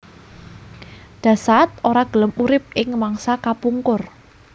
Dasaad ora gelem urip ing mangsa kapungkur